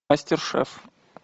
мастер шеф